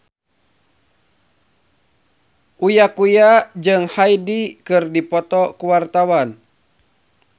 Uya Kuya jeung Hyde keur dipoto ku wartawan